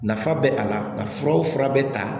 Nafa bɛ a la nka furaw fura bɛ ta